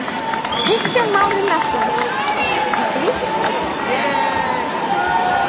Kristján Már Unnarsson: Ætti ríkisstjórnin að koma að þessu svari?